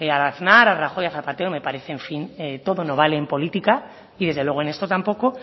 a aznar a rajoy a zapatero me parece en fin todo no vale en política y desde luego en esto tampoco